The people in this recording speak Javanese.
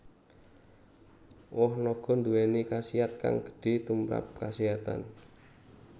Woh naga nduwèni khasiat kang gedhe tumprap kaséhatan